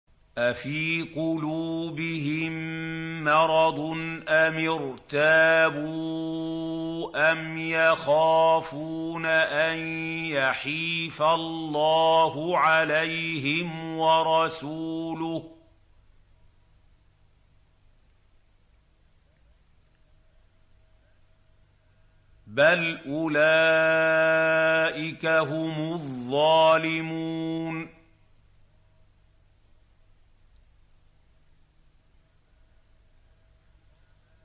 أَفِي قُلُوبِهِم مَّرَضٌ أَمِ ارْتَابُوا أَمْ يَخَافُونَ أَن يَحِيفَ اللَّهُ عَلَيْهِمْ وَرَسُولُهُ ۚ بَلْ أُولَٰئِكَ هُمُ الظَّالِمُونَ